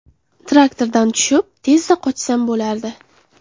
Traktordan tushib, tezda qochsam bo‘lardi.